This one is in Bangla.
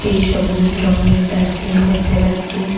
ই সবুজ রঙের ডাস্টবিন দেখতে পাচ্ছি।